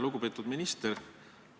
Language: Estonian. Lugupeetud minister!